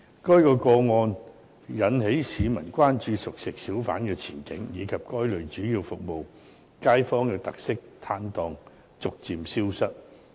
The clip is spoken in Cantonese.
該個案引起市民關注熟食小販的前景，以及該類主要服務街坊的特色攤檔逐漸消失。